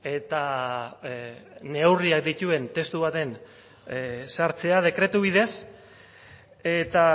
eta neurriak dituen testu baten sartzea dekretu bidez eta